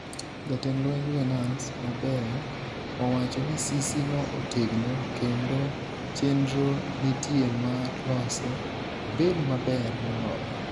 Jatend lweny Venance Mabeyo owacho ni sisi no otegno kendo chenro nitie mar lose obed maber moloyo